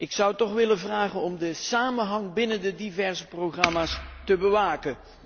Ik zou toch willen vragen om de samenhang binnen de diverse programma's te bewaken.